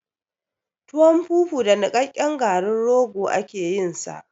Tuwon fufu da niƙaƙƙen garin rogo ake yin sa